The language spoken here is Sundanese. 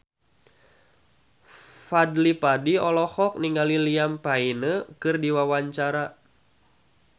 Fadly Padi olohok ningali Liam Payne keur diwawancara